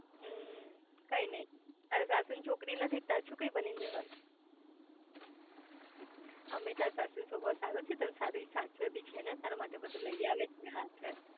હમ્મ કઈ નઈ તાર સાસુ ને છોકરી નથી તારે છોકરી બની ને રેવાનું આમેય તાર સાસુ નો સ્વભાવ સારો છે તને સારું સાચવે બી છે ને તારા માટે બધું લઇ આવે છે આ છે